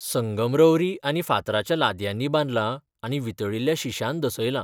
संगमरवरी आनी फातराच्या लादयांनी बांदलां आनी वितळिल्ल्या शिश्यान दसयलां.